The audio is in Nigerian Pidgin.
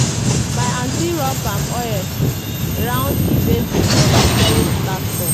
my aunty rub palm oil round di basin of di storage platform.